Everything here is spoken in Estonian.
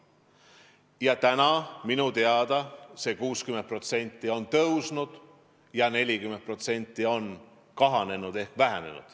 Nüüdseks on seal minu teada see 60% tõusnud ja 40% on kahanenud.